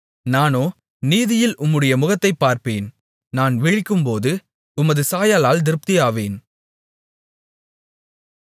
நானோ நீதியில் உம்முடைய முகத்தைத் பார்ப்பேன் நான் விழிக்கும்போது உமது சாயலால் திருப்தியாவேன்